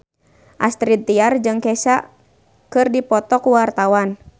Astrid Tiar jeung Kesha keur dipoto ku wartawan